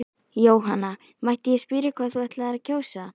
Jóhanna: Mætti ég spyrja hvað þú ætlar að kjósa?